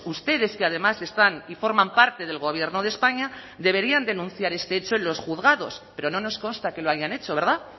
ustedes que además están y forman parte del gobierno de españa deberían denunciar este hecho en los juzgados pero no nos consta que lo hayan hecho verdad